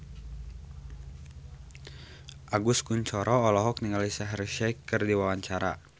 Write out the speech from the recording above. Agus Kuncoro olohok ningali Shaheer Sheikh keur diwawancara